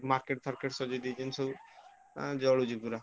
Market ଫାର୍କେଟ ସଜେଇ ଦେଇଛନ୍ତି ସବୁ ମାନେ ଜଳୁଛି ପୁରା।